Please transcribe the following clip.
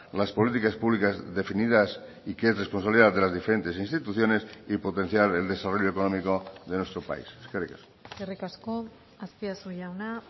las políticas públicas definidas y que es responsabilidad de las diferentes instituciones y potenciar el desarrollo económico de nuestro país eskerrik asko eskerrik asko azpiazu jauna